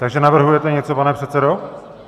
Takže navrhujete něco, pane předsedo?